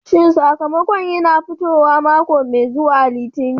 Shin sakamakon yana fitowa mako mai zuwa Litinin?